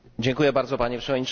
Panie Przewodniczący!